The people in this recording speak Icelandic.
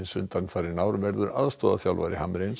undanfarin ár verður aðstoðarþjálfari